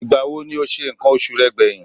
Ìgbà wo ni o se nǹkan oṣù rẹ gbẹ̀yìn?